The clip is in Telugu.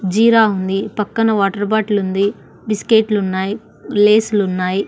జీరా ఉంది పక్కన వాటర్ బాటిల్ ఉంది బిస్కెట్ లు ఉన్నాయి లేస్ లు ఉన్నాయి.